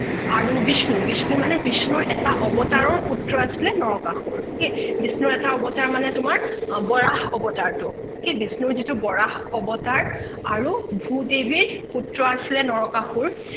আৰু বিষ্ণু, বিষ্ণু মানে বিষ্ণুৰ এটা অৱতাৰৰ পুত্ৰ আছিলে নৰকাসুৰ okay বিষ্ণুৰ এটা অৱতাৰ মানে তোমাৰ বৰাহ অৱতাৰ টো okay বিষ্ণুৰ যিটো বৰাহ অৱতাৰ আৰু ভূ দেৱীৰ পুত্ৰ আছিলে নৰকাসুৰ